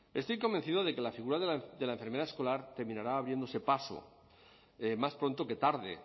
estoy convencido de que la figura de la enfermera escolar terminará abriéndose paso más pronto que tarde